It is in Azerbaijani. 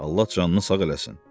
Allah canını sağ eləsin.